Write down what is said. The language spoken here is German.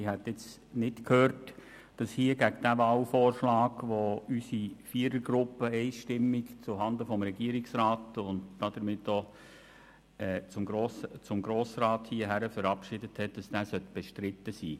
Ich habe nicht gehört, dass der Wahlvorschlag, den unsere Vierergruppe einstimmig zuhanden des Regierungsrats und somit auch des Grossen Rats verabschiedet hat, bestritten wäre.